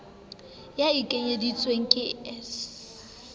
ya e ekeditsweng ke s